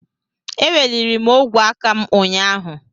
Eweliri m ogwe aka m ụnyahụ.